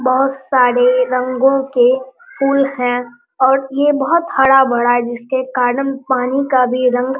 बहुत सारे रंगों के फूल हैं और ये बहुत हरा-भरा है जिसके कारन पानी का भी रंग --